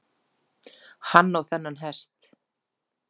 Hann á þennan hest.